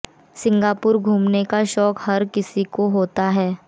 Singapore घूमने का शौक हर किसी को होता है